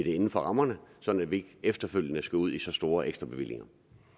inden for rammerne sådan at vi ikke efterfølgende skal ud i så store ekstrabevillinger